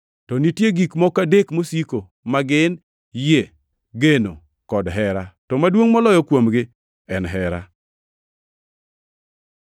To nitie gik moko adek mosiko, ma gin: yie, geno, kod hera, to maduongʼ moloyo kuomgi en hera.